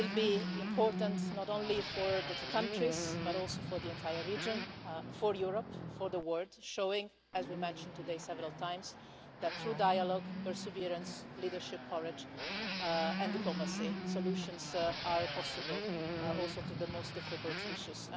will be important not only for the two countries, but also for the entire region, for Europe and for the world, showing as we have mentioned several times today that through dialogue, perseverance, leadership, courage and diplomacy, solutions are possible, including to the most difficult issues.